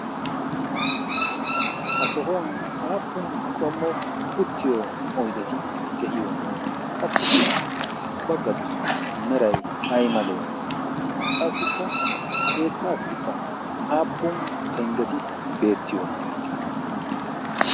ha sohuwan aappun qommo uttiyo oydeti de'iyoona qassikka baggatussi meray ay malee qassikka a keettaassikka aappun penggeti beettiyoona